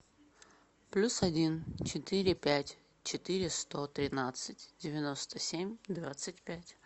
плюс один четыре пять четыре сто тринадцать девяносто семь двадцать пять